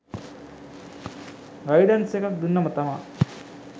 guidance එකක් දුන්නම තමා